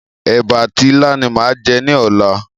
Èbà àti ilá ni màá jẹ ní ọ̀la.